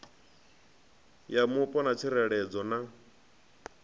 ya mupo na tsireledzo na